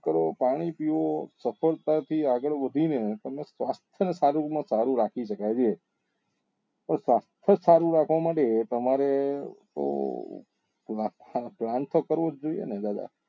કરો પાણી પીવો ચક્કર કાપી આગળ વધી ને તમને સ્વાસ્થ્ય સારું રાખવા માટે તમારે તો જો ધ્યાન તો કરવું જ જોઈએ ને